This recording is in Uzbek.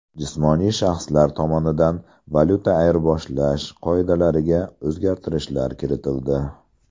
Jismoniy shaxslar tomonidan valyuta ayirboshlash qoidalariga o‘zgartirishlar kiritildi.